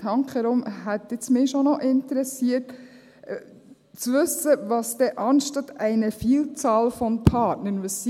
Handkehrum hätte es mich schon interessiert zu wissen, was es anstatt «einer Vielzahl von […] Partnern», ist.